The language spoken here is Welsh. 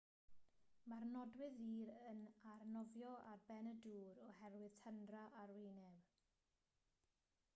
mae'r nodwydd ddur yn arnofio ar ben y dŵr oherwydd tyndra arwyneb